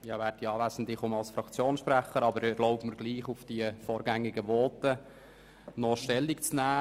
Ich spreche nun als Fraktionssprecher, doch ich erlaube mir, zu bisherigen Voten aus glp-Sicht Stellung zu nehmen.